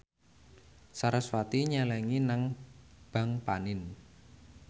sarasvati nyelengi nang bank panin